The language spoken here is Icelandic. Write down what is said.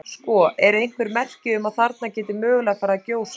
Sko, eru einhver merki um að þarna geti mögulega farið að gjósa?